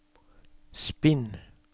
spinn